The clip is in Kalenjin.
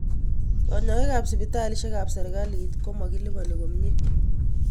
Kanyoik ap sipitalisyek ap sirikalit ko makilipani komnye.